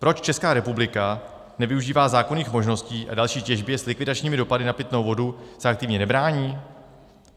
Proč Česká republika nevyužívá zákonných možností a další těžbě s likvidačními dopady na pitnou vodu se aktivně nebrání?